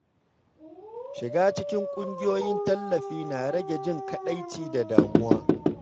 Shiga cikin ƙungiyoyin tallafi na rage jin kaɗaici da damuwa.